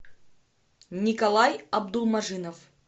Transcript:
николай абдулмажинов